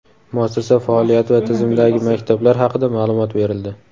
muassasa faoliyati va tizimdagi maktablar haqida ma’lumot berildi.